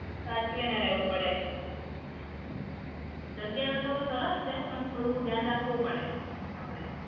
સાચવીને રહેવું પડે. જગ્યા તો સરસ છે પણ થોડું ધ્યાન રાખવું પડે આપડે.